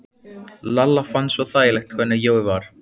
Lalla fannst svo þægilegt hvernig Jói var.